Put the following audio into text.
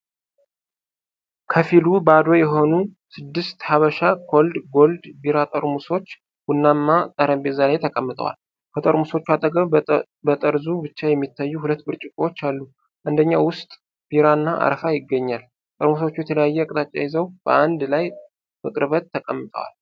ከፊሉ ባዶ የሆኑ ስድስት ሐበሻ ኮልድ ጎልድ ቢራ ጠርሙሶች ቡናማ ጠረጴዛ ላይ ተቀምጠዋል። ከጠርሙሶቹ አጠገብ በጠርዙ ብቻ የሚታዩ ሁለት ብርጭቆዎች አሉ፤ አንደኛው ውስጥ ቢራ እና አረፋ ይገኛል። ጠርሙሶቹ የተለያየ አቅጣጫ ይዘው በአንድ ላይ በቅርበት ተቀምጠዋል።